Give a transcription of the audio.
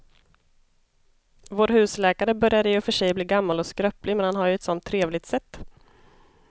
Vår husläkare börjar i och för sig bli gammal och skröplig, men han har ju ett sådant trevligt sätt!